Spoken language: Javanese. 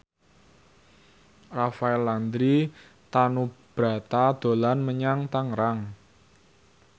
Rafael Landry Tanubrata dolan menyang Tangerang